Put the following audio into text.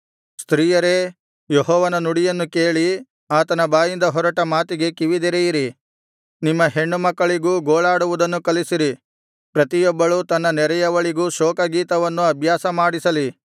ಸ್ತ್ರೀಯರೇ ಯೆಹೋವನ ನುಡಿಯನ್ನು ಕೇಳಿ ಆತನ ಬಾಯಿಂದ ಹೊರಟ ಮಾತಿಗೆ ಕಿವಿದೆರೆಯಿರಿ ನಿಮ್ಮ ಹೆಣ್ಣುಮಕ್ಕಳಿಗೂ ಗೋಳಾಡುವುದನ್ನು ಕಲಿಸಿರಿ ಪ್ರತಿಯೊಬ್ಬಳು ತನ್ನ ನೆರೆಯವಳಿಗೂ ಶೋಕಗೀತವನ್ನು ಅಭ್ಯಾಸ ಮಾಡಿಸಲಿ